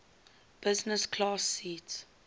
business class seat